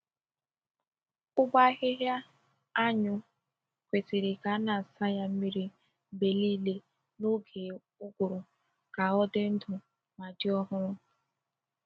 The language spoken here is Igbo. Ụgbọ ahịhịa anyụ kwesịrị ka a na-asa ya mmiri mgbe niile n’oge ụgụrụ ka ọ dị ndụ ma dị ọhụrụ.